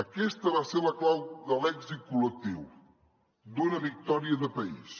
aquesta va ser la clau de l’èxit col·lectiu d’una victòria de país